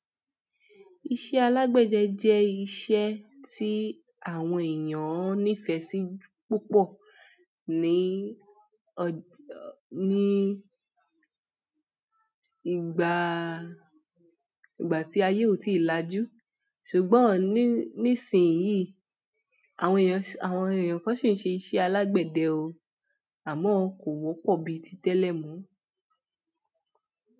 Iṣẹ́ alágbẹ̀dẹ jẹ́ iṣẹ́ tí àwọn èèyàn nífẹ̀ẹ́ sí púpọ̀ ní, ọ̀, ní ìgbà, ìgbà tí ayé ò tíì lajú. Ṣùgbọ́n ní, nísìnyí àwọn èèyàn, àwọn èèyàn kan sì ń ṣe iṣẹ́ alágbẹ̀dẹ o, àmọ́ kò wọ́pọ̀ bíi tí tẹ́lẹ̀ mú.